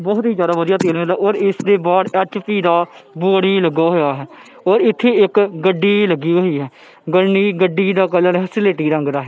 ਵੋਹਤ ਹੀ ਜਿਆਦਾ ਵਧੀਆ ਔਰ ਇੱਸ ਦੇ ਬਾਹਰ ਐੱਚ_ਪੀ ਦਾ ਬੋਰਡ ਵੀ ਲੱਗਾ ਹੋਇਆ ਹੈ ਔਰ ਇੱਥੇ ਇੱਕ ਗੱਡੀ ਲੱਗੀ ਹੋਈ ਹੈ ਗੱਡੀ ਦਾ ਕਲਰ ਸਿਲੇਟੀ ਰੰਗ ਦਾ ਹੈ।